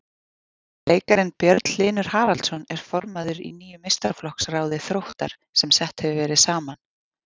Leikarinn Björn Hlynur Haraldsson er formaður í nýju meistaraflokksráði Þróttar sem sett hefur verið saman.